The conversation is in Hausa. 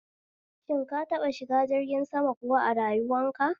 Shin ka taɓa shiga jirgin sama kuwa a rayuwanka?